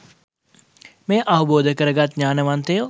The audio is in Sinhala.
මෙය අවබෝධ කරගත් ඥානවන්තයෝ